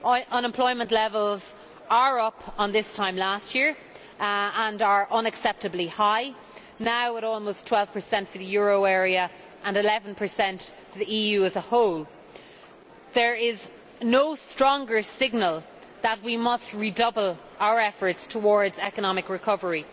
Unemployment levels are up on this time last year and are unacceptably high now at almost 12 for the euro area, and 11 for the EU as a whole. There is no stronger signal that we must redouble our efforts towards economic recovery.